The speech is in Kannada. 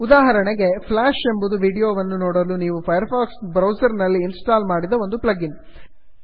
ಉದಾಹರಣೆಗೆ ಫ್ಲಾಷ್ ಎಂಬುದು ವೀಡಿಯೋವನ್ನು ನೋಡಲು ನೀವು ಫೈರ್ ಫಾಕ್ಸ್ ಬ್ರೌಸರ್ನಲ್ಲಿ ಇನ್ಸ್ಟಾಲ್ ಮಾಡಿದ ಒಂದು ಪ್ಲಗ್ ಇನ್